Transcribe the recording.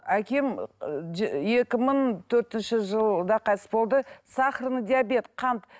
әкем екі мың төртінші жылда қайтыс болды сахарный диабет қант